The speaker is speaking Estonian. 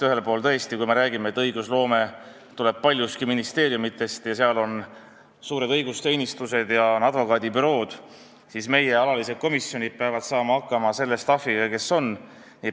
Ühelt poolt, kui me räägime, et õigusloome tuleb paljuski ministeeriumidest, seal on suured õigusteenistused ja on advokaadibürood, siis peavad meie alalised komisjonid hakkama saama selle staff'iga, kes on.